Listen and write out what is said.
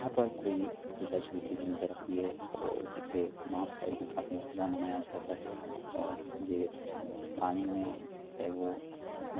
यहाँ पर कोई पूजा चलती हुई नजर आ रही है और इसे नॉर्थ साइड पे काफी ज्यादा मनाया जाता है और ये उ पानी में है वो--